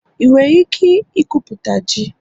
ị nwere ike ikwupụta ji?